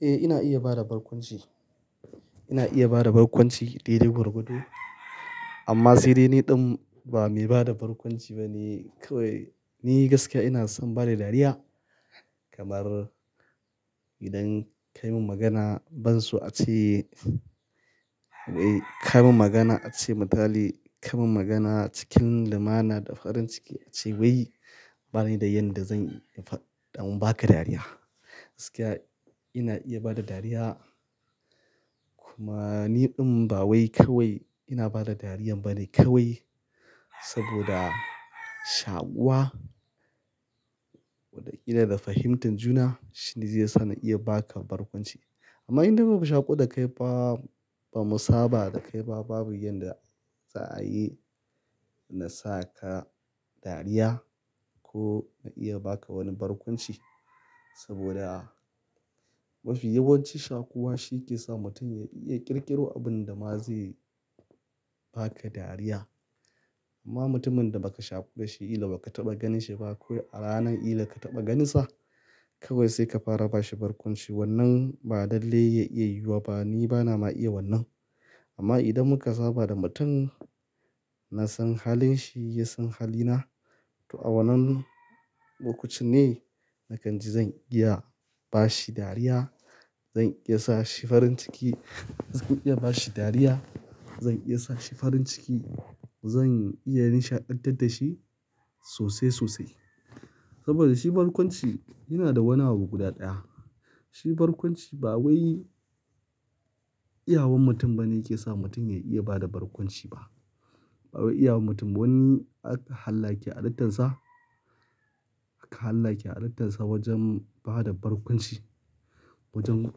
Eh, ina iya bada barkwanci. Ina iya bada barkwanci, daidai gwargwado, amma sai dai ni ɗin ba mai bada barkwanci bane, kawai, ni gaskiya ina son bada dariya, kamar idan kai mun magana ban so a ce, kai mun magana a ce matali, kai mun magana cikin lumana da farin ciki, a ce wai ba ni da yan da zan in fa-- ɗon ba ka dariya. Gaskiya, ina iya bada dariya. Kuma, ni ɗin ba wai kawai ina bada dariyan bane, kawai saboda shaƙuwa, Wada ƙila da fahimtar juna, shine zai sa na iya ba ka barkwanci. Amma in dai babu shaƙu da kai ba, ba mu saba da kai ba, babu yanda za a yi na sa ka dariya, ko na iya ba ka wani barkwanci, saboda, mafi yawanci shaƙuwa shi ke sa mutum ya iya ƙirƙiro abin da ma zai, ba ka dariya. Amma mutumin da baka shaƙu da shi ila baka taɓa ganin shi ba, ko a ranan ila ka taɓa ganinsa, kawai sai ka fara ba shi barkwanci. Wannan ba lallai ya iya yiwuwa ba, ni bana ma iya wannan. Amma idan muka saba da mutum, na san halin shi, ya san halina to a wannan, lokacin ne, nakan ji zan iya ba shi dariya. Zan iya sa shi farin ciki, zan iya ba shi dariya. Zan iya sa shi farin ciki, zan iya nishaɗantar da shi sosai, sosai. Saboda shi barkwanci, yana da wani abu guda ɗaya. Shi barkwanci ba wai, iyawan mutum bane yake sa mutum ya iya bada barkwanci ba. Ba wai iyawan mutum ba, wani ak, halla ya ke alittansa, aka halla ya ke alittansa wajen bada barkwanci, wajen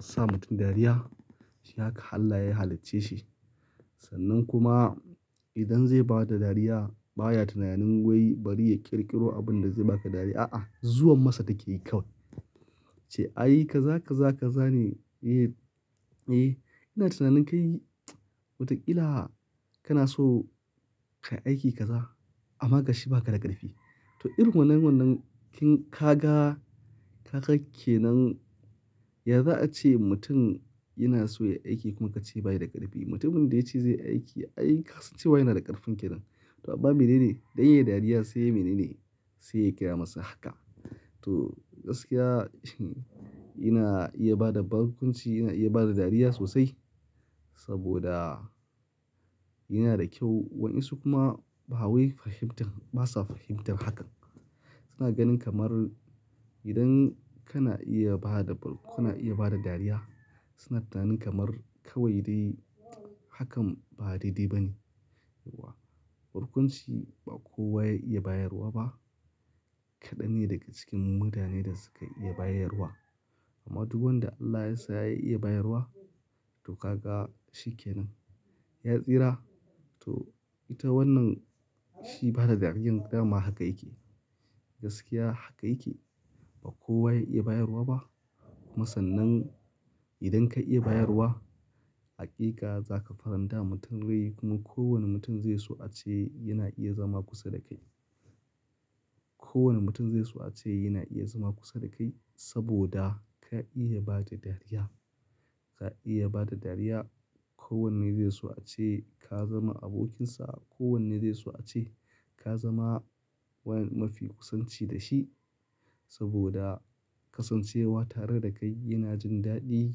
sa mutum dariya. Shi haka Hallah ya halicce shi. Sannan kuma idan zai bada dariya, baya tunanin wai bari ya ƙirƙiro abin da zai ba ka dariya. A'a, zuwan masa take yi kawai. Ce ai kaza, kaza, kaza ne. Eh, ina tunanin kai, wataƙila kana so ka yi aiki kaza, amma gashi ba ka da ƙarfi. To irin wannan wannan kin ka ga, ka ga ke nan. Ya za a ce mutum yana so ya yi aiki kuma ka ce ba yi da ƙarfi? Mutumin da ya ce zai yi aiki, ai kasan cewa yana da ƙarfin kenan. To amma mene ne? Dan ya yi dariya sai yai mene ne? Sai ya kaya masa haka. To, gaskiya, ina iya bada barkwanci, ina iya bada dariya sosai, saboda, yana da kyau Waninsu kuma ba wai fahimtar, basa fahimtar hakan. Suna ganin kamar, idan kana iya bada, kana iya bada dariya, suna tunanin kamar kawai dai hakan ba daidai ba ne. Barkwanci, ba kowa ya iya bayarwa ba. Kaɗan ne daga cikin mu mutane da suka iya bayarwa. Amma du wanda Allah yasa ya iya bayarwa, to ka ga shi kenan. Ya tsira, to ita wannan shi bada dariyan, dama haka yake. Gaskiya haka yake. Ba kowa ya iya bayarwa ba, kuma sannan idan ka iya bayarwa, aƙika za ka faranta wa mutum rai, kuma kowane mutum zai so a ce yana iya zama kusa da kai. Kowane mutum zai so a ce yana iya zama kusa da kai saboda ka iya bada dariya. Ka iya bada dariya. Kowanne zai so a ce, ka zama abokinsa. Kowanne zai so a ce, ka zama wani mafi kusanci da shi, saboda kasancewa tare da kai yana jin daɗi,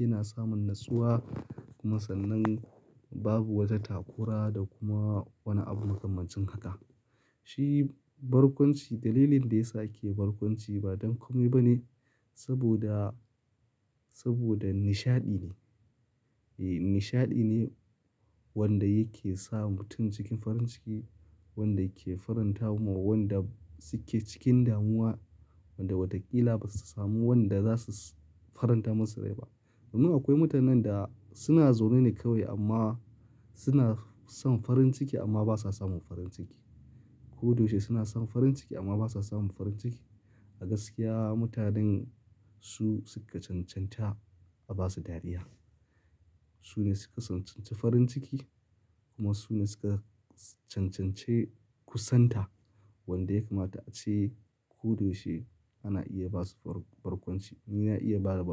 yana samun natsuwa, kuma sannan, babu wata takura da kuma wani abu makamancin haka. Shi, barkwanci dalilin da yasa ake barkwanci ba don komai ba ne, saboda, saboda nishaɗi ne. Eh, nishaɗi ne wanda yake sa mutum cikin farin ciki, wanda yake faranta wa wanda suke cikin damuwa, wanda wataƙila basu samu wanda za su faranta musu rai ba. Domin akwai mutanen da, suna zaune ne kawai amma, suna son farin ciki amma basa samun farin ciki. Ko doshe suna son farin ciki amma basa samun farin ciki. A gaskiya mutanen su suka cancanta a ba su dariya. Su ne suka sancanci farin ciki, kuma su ne suka, cancance kusanta, wanda ya kamata a ce, ko doshe ana iya ba su barkwanci. Ni na iya bada bark.